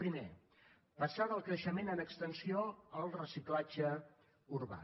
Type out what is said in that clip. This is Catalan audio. primer passar del creixement en extensió al reciclatge urbà